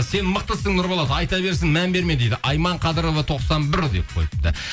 сен мықтысың нұрболат айта берсін мән берме дейді айман қадірова тоқсан бір деп қойыпты